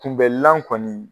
Kunbɛlan kɔni